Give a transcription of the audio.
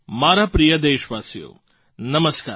મારા પ્રિય દેશવાસીઓ નમસ્કાર